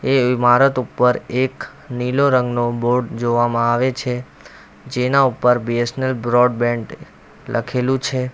એ ઇમારત ઉપર એક નીલો રંગનું બોર્ડ જોવામાં આવે છે જેના ઉપર B S N L broadband લખેલું છે.